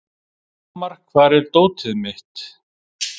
Hamar, hvar er dótið mitt?